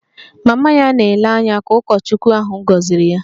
Mama ya na-ele anya ka ụkọchukwu ahụ gọziri ya